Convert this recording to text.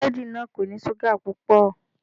Búrẹ́dì náà kò ní ṣúgà púpọ̀.